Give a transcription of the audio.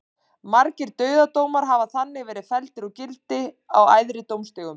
Margir dauðadómar hafa þannig verið felldir úr gildi á æðri dómstigum.